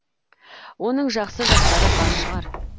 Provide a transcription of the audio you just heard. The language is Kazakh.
оның жақсы жақтары бар шығар